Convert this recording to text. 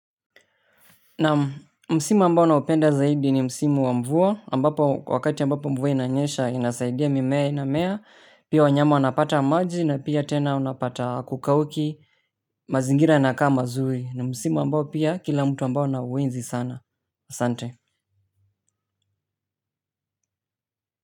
Naam, msimu ambao naupenda zaidi ni msimu wa mvua ambapo wakati ambapo mvua inanyesha inasaidia mimea inamea, pia wanyama wanapata maji na pia tena unapata hakukauki. Mazingira yanakaa mazuri ni msimu ambao pia kila mtu ambao anauenzi sana. Sante.